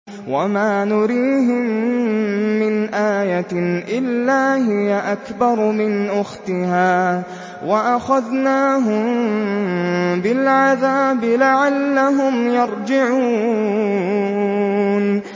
وَمَا نُرِيهِم مِّنْ آيَةٍ إِلَّا هِيَ أَكْبَرُ مِنْ أُخْتِهَا ۖ وَأَخَذْنَاهُم بِالْعَذَابِ لَعَلَّهُمْ يَرْجِعُونَ